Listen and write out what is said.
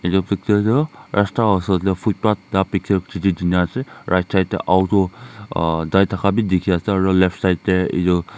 etu picture tu rasta usor tey footpath jane ase right side tey auto ah tai thaka beh dekhe ase aro left side tey etu.